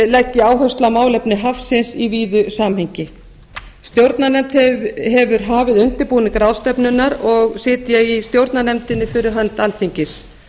leggi áherslu á málefni hafsins í víðu samhengi stjórnarnefnd hefur hafið undirbúning ráðstefnunnar og sit ég í stjórnarnefndinni fyrir hönd alþingis